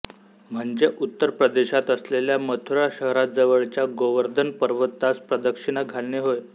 म्हणजे उत्तर प्रदेशात असलेल्या मथुरा शहराजवळच्या गोवर्धन पर्वतास प्रदक्षिणा घालणे होय